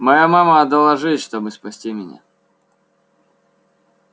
моя мама отдала жизнь чтобы спасти меня